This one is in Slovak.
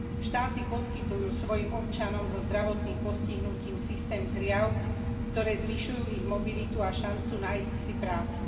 Štáty poskytujú svojim občanom so zdravotným postihnutím systém zliav, ktoré zvyšujú ich mobilitu a šancu nájsť si prácu.